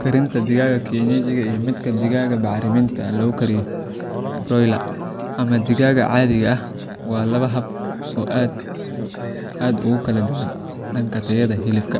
Karinta digaaga kienyejiga iyo midka digaaga baacriminta lagu koriyo broiler ama digaag caadi ah, waa laba hab oo aad ugu kala duwan dhanka tayada hilibka,